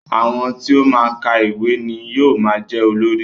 Àwọn tí ó máa ń ka ìwé ni yóò máa jẹ́ olórí